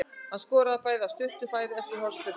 Hann skoraði bæði af stuttu færi eftir hornspyrnur.